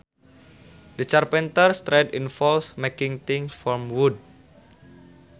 The carpenters trade involves making things from wood